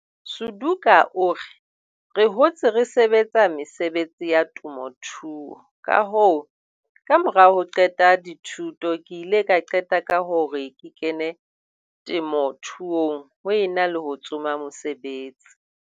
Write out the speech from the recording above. Suduka o re, "Re hotse re sebetsa mesebetsi ya temothuo, kahoo, kamora ho qeta dithuto ke ile ka qeta ka hore ke kene temothuong ho e na le ho tsoma mosebetsi."